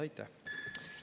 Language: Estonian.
Aitäh!